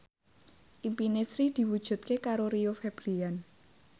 impine Sri diwujudke karo Rio Febrian